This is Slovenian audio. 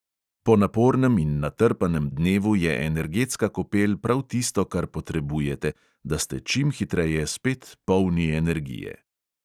Po napornem in natrpanem dnevu je energetska kopel prav tisto, kar potrebujete, da ste čim hitreje spet polni energije.